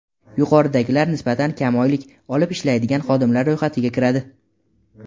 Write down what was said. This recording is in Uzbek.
Yuqoridagilar nisbatan kam oylik olib ishlaydigan xodimlar ro‘yxatiga kiradi.